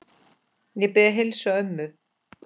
Ég bið að heilsa ömmu.